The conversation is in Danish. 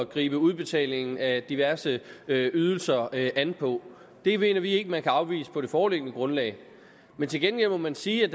gribe udbetalingen af diverse ydelser an på det mener vi ikke man kan afvise på det foreliggende grundlag men til gengæld må man sige at